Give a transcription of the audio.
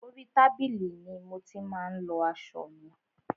Orí tábìlì ni mo ti má ń lọ aṣọ mi.